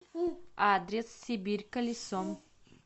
адрес сибирь колесо